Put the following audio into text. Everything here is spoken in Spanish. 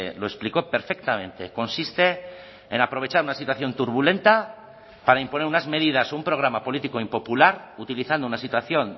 lo explicó perfectamente consiste en aprovechar una situación turbulenta para imponer unas medidas un programa político impopular utilizando una situación